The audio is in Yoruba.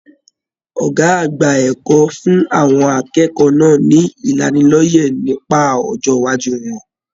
Ọgá àgbà ẹ̀kọ́ fún àwọn akẹ́kọ̀ọ́ náà ní ìlánílọ́yẹ̀ nípa ọjọ iwájú wọn.